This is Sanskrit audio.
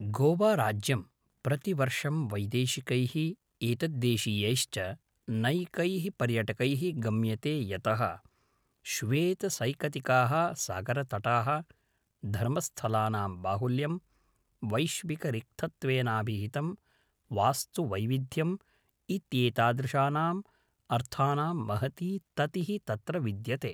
गोवाराज्यं प्रतिवर्षं वैदेशिकैः एतद्देशीयैश्च नैकैः पर्यटकैः गम्यते यतः श्वेतसैकतिकाः सागरतटाः, धर्मस्थलानां बाहुल्यं, वैश्विकरिक्थत्वेनाभिहितं वास्तुवैविध्यम् इत्येतादृशानाम् अर्थानां महती ततिः तत्र विद्यते।